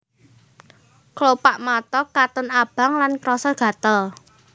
Klopak mata katon abang lan krasa gatel